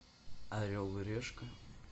орел и решка